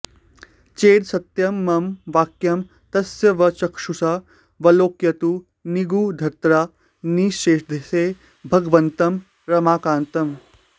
चेदसत्यं मम वाक्यं तत्स्वचक्षुषा विलोकयतु निगूढतरा निशीथे भगवन्तं रमाकान्तम्